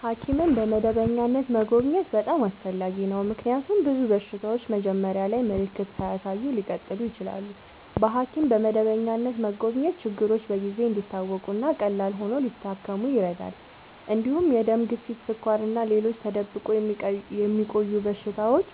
ሐኪምን በመደበኛነት መጎብኘት በጣም አስፈላጊ ነው፤ ምክንያቱም ብዙ በሽታዎች መጀመሪያ ላይ ምልክት ሳያሳዩ ሊቀጥሉ ይችላሉ። በሐኪም በመደበኛነት መጎብኘት ችግሮች በጊዜ እንዲታወቁ እና ቀላል ሆነው ሊታከሙ ይረዳል። እንዲሁም የደም ግፊት፣ ስኳር እና ሌሎች ተደብቆ የሚቆዩ በሽታዎች